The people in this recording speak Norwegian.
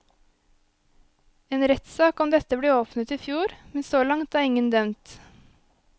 En rettssak om dette ble åpnet i fjor, men så langt er ingen dømt.